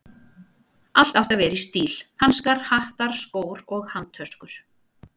Allt átti að vera í stíl: hanskar, hattar, skór og handtöskur.